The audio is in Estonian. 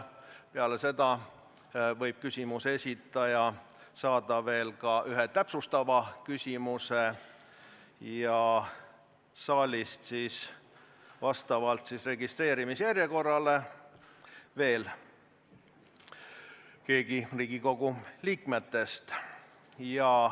Peale seda võib küsimuse esitaja saada veel ühe täpsustava küsimuse ja saalist saab siis küsida vastavalt registreerimise järjekorrale veel keegi Riigikogu liikmetest.